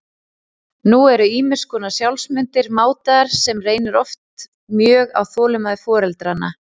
Nú eru ýmis konar sjálfsmyndir mátaðar, sem reynir oft mjög á þolinmæði foreldranna.